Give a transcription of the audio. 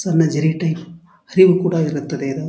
ಸಣ್ಣ ಜರಿಯ ಟೈಪ್ ಹರಿವು ಕೂಡ ಇರುತ್ತದೆ ಇದು.